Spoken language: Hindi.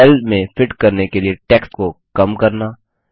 सेल में फिट करने के लिए टेक्स्ट को कमश्रिंक करना